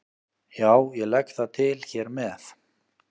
Já, ég legg það til hér með.